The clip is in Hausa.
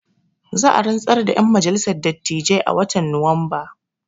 Za a rantsar da ƴan majalissar dattijai a watan nuwamba